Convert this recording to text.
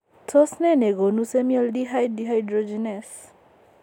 Tos nee negonu semialdehyde dehydrogenase ?